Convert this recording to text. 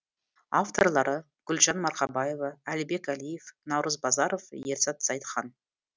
авторлары гүлжан марқабаева әлібек әлиев наурыз базаров ерзат зайытхан